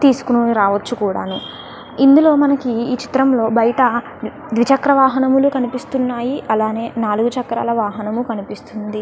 తీసుకురావొచ్చు కూడాను. ఇందులో మనకి ఈ చిత్రంలో బయట దిచక్ర వాహనంలు కనిపిస్తున్నాయి. అలానే నాలుగు చక్రాల వాహనం కనిపిస్తుంది.